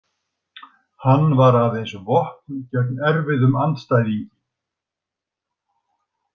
Hann var aðeins vopn gegn erfiðum andstæðingi.